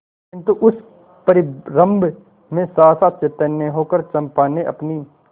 किंतु उस परिरंभ में सहसा चैतन्य होकर चंपा ने अपनी